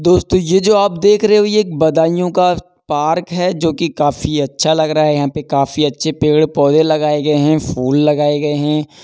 दोस्तों यह जो आप देख रहे हो ये बदाइयों का पार्क है जोकि काफी अच्छा लग रहा है। यहाँ पे काफी अच्छे पेड़ पौधे लगाए गए है फूल लगाए गए हैं।